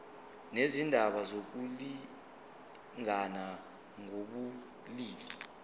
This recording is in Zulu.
nezindaba zokulingana ngokobulili